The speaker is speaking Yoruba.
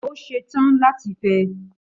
Ó ṣe tán láti fẹ́ ẹ.